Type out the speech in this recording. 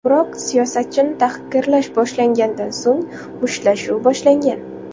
Biroq siyosatchini tahqirlash boshlangandan so‘ng, mushtlashuv boshlangan.